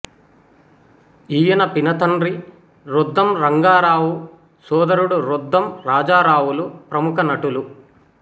ఈయన పినతండ్రి రొద్దం రంగారావు సోదరుడు రొద్దం రాజారావులు ప్రముఖ నటులు